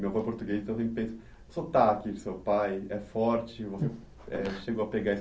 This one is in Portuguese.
Meu avô é português, então eu sempre penso, sotaque do seu pai, é forte, você chegou a pegar isso